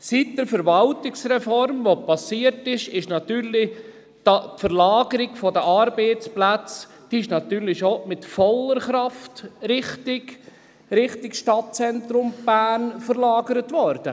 Seit der Verwaltungsreform, die geschehen ist, ist natürlich die Verlagerung der Arbeitsplätze mit voller Kraft in Richtung Stadtzentrum Bern gegangen.